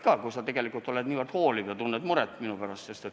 Tore, kui sa tegelikult oled nii hooliv ja tunned minu pärast muret.